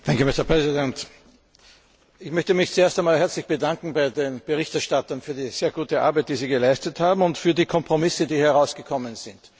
Herr Präsident! Ich möchte mich zuerst einmal herzlich bedanken bei den Berichterstattern für die sehr gute Arbeit, die sie geleistet haben, und für die Kompromisse, die herausgekommen sind.